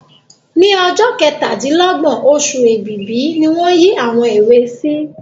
Ní ọjọ́ kẹtàdílọ́gbọ̀n oṣù Èbìbí ni wọ́n yìí àwọn èwe sí